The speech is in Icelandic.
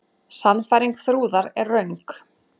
Sannfæring Þrúðar er röng.